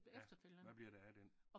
Ja hvad bliver der af den?